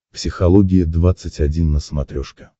психология двадцать один на смотрешке